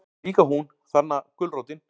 Líka hún, þarna gulrótin.